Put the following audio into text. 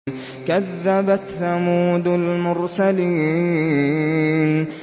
كَذَّبَتْ ثَمُودُ الْمُرْسَلِينَ